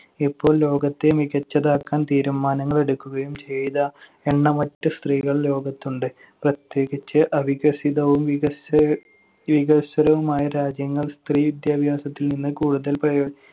ഇപ്പോ ലോകത്തെ മികച്ചതാക്കാൻ തീരുമാനങ്ങൾ എടുക്കുകയും ചെയ്ത എണ്ണമറ്റ സ്ത്രീകൾ ലോകത്തിലുണ്ട്. പ്രത്യേകിച്ച് അവികസിതവും വികസ്വ~ വികസ്വരവുമായ രാജ്യങ്ങൾ സ്ത്രീ വിദ്യാഭ്യാസത്തിൽ നിന്ന് കൂടുതൽ പ്രയോ~